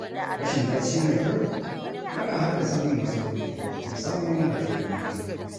Rashin bacci mai kyau yana haddasa min matsaloli, musamman ga tunanina.